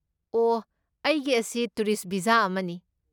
ꯑꯣꯍ, ꯑꯩꯒꯤ ꯑꯁꯤ tourist visa ꯑꯃꯅꯤ꯫